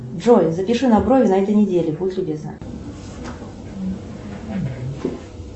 джой запиши на брови на этой неделе будь любезна